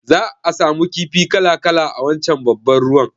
Za'a samu kifi kala-kala a wancan babban ruwan